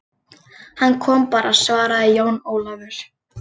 Hann kom bara, svaraði Jón Ólafur.